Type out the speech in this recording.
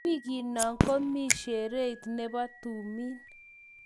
Wikiino komii shereit ne bo tumiin.